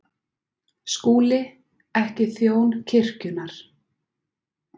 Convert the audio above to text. SKÚLI: Ekki þjón kirkjunnar.